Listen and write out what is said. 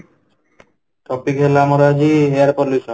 topic ହେଲା ଆମର ଆଜି air pollution